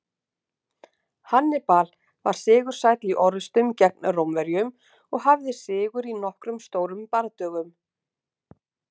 Hannibal var sigursæll í orrustum gegn Rómverjum og hafði sigur í nokkrum stórum bardögum.